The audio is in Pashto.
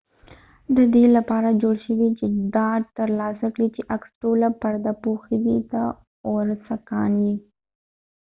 دا د دې لپاره جوړ شوي چې ډاډ ترلاسه کړي چې عکس ټوله پرده پوښي دې ته اوورسکان وایي